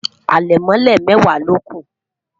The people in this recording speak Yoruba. alemole mẹwa loku